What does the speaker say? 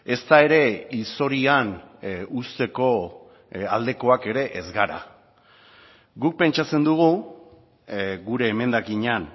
ezta ere hilzorian uzteko aldekoak ere ez gara guk pentsatzen dugu gure emendakinean